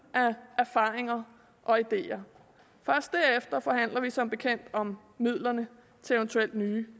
erfaringer og ideer først derefter forhandler vi som bekendt om midlerne til eventuelle nye